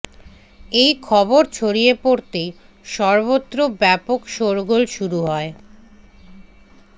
এই খবর ছড়িয়ে পড়তেই সর্বত্র ব্যাপক শোরগোল শুরু হয়